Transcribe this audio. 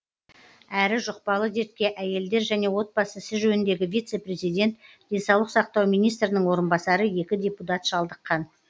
әрі жұқпалы дертке әйелдер және отбасы ісі жөніндегі вице президент денсаулық сақтау министрінің орынбасары екі депутат шалдыққан